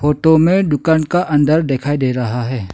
Photo में दुकान का अंदर दिखाई दे रहा है।